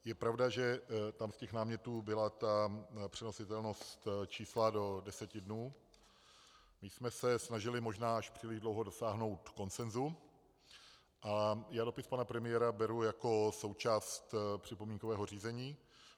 Je pravda, že tam u těch námětů byla ta přenositelnost čísla do deseti dnů, my jsme se snažili možná až příliš dlouho dosáhnout konsenzu a já dopis pana premiéra beru jako součást připomínkového řízení.